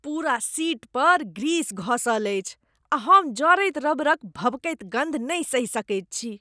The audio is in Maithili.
पूरा सीट पर ग्रीस घँसल अछि आ हम जरैत रबरक भभकैत गन्ध नहि सहि सकैत छी।